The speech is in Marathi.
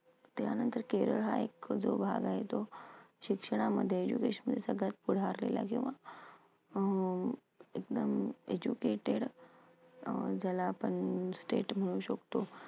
त्यानंतर केरळ हा एक जो भाग आहे तो शिक्षणामध्ये सगळ्यात पुढे आलेला जेव्हा अं एकदम educated अं ज्याला आपण state म्हणू शकतो.